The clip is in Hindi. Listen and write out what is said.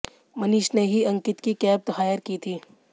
मनीष ने ही अंकित की कैब हायर की थी